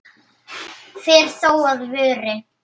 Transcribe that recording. fer þó að vori.